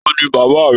Taní bàbá rẹ?